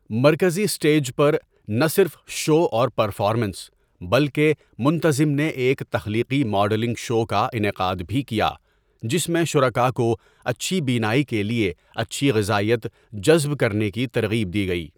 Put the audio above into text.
مرکزی اسٹیج پر، نہ صرف شو اور پرفارمنس، بلکہ منتظم نے ایک تخلیقی ماڈلنگ شو کا انعقاد بھی کیا جس میں شرکا کو اچھی بینائی کے لیے اچھی غذائیت جذب کرنے کی ترغیب دی گئی۔